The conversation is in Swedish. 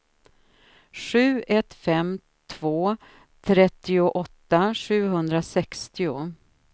sju ett fem två trettioåtta sjuhundrasextio